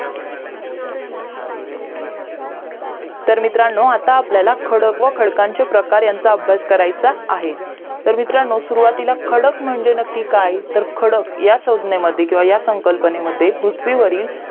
तर मित्रांनो आता आपल्याला खडक व खडकांचे प्रकार यांचा अभ्यास करयचा आहे तर मित्रांनो सुरूवातीला खडक म्हणजे नक्की काय तर खडक या सज्ञे मध्ये ह्या संकलपणे मध्ये पृथ्वीवरील